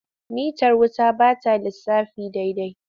Mitar wuta ba ta lissafi daidai.